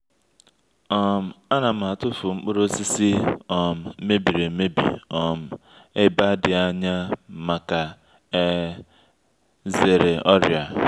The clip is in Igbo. um a na m atụfụ nkpụrụ osisi um mebiri emebi um e ba di anya maka e zere ọrịa.